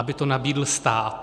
Aby to nabídl stát.